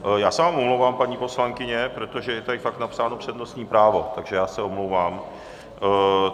Já se vám omlouvám, paní poslankyně, protože je tady fakt napsáno přednostní právo, takže já se omlouvám.